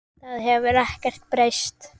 Það hefur ekkert breyst.